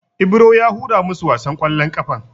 Ibro ya hura masu wasan ƙwallon ƙafan.